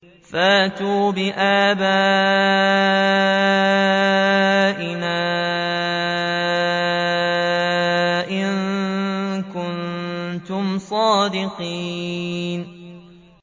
فَأْتُوا بِآبَائِنَا إِن كُنتُمْ صَادِقِينَ